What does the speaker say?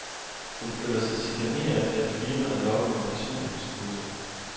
Hun føler sig chikaneret af et firma, der lokker med personlighedskurser.